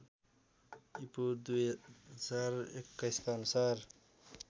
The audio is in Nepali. ईपू १०२१ का अनुसार